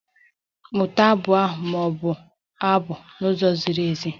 Mụta abụ ahụ ma bụo abụ n'ụzọ ziri ezi!